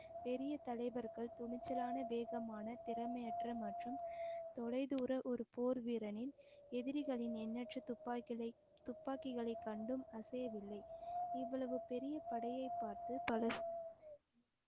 பெரிய தலைவர்கள் துணிச்சலான வேகமான திறமையற்ற மற்றும் தொலைதூர ஒரு போர் வீரனின் எதிரிகளின் எண்ணற்ற துப்பாக்கிகளை துப்பாக்கிகளை கண்டும் அசையவில்லை இவ்வளவு பெரிய படையை பார்த்து பலர்